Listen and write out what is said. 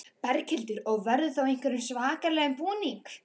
Berghildur: Og verður þá í einhverjum svakalegum búning?